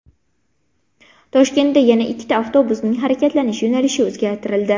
Toshkentda yana ikkita avtobusning harakatlanish yo‘nalishi o‘zgartirildi.